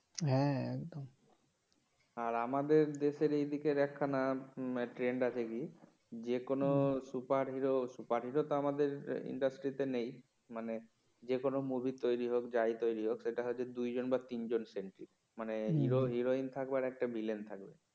যেকোন superhero superhero তো আমাদের ইন্ডাস্ট্রি তে নেই মানে যেকোন মুভি তৈরি হোক যাই তৈরি হোক সেটা হচ্ছে দুই জন বা তিন জন center মানে হিরো হিরোইন থাকবে আর একটা ভিলেন থাকবে